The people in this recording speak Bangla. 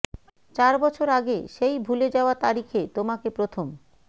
চার বছর আগে সেই ভুলে যাওয়া তারিখে তোমাকে প্রথম